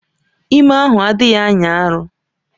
Ime ahụ adịghị anya arọ